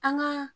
An ka